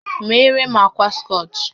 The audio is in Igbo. Meere m ákwà scọch!